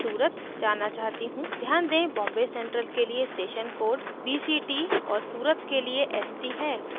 ध्यान दें बॉम्बे central के लिए station codes bct और surat के लिए st है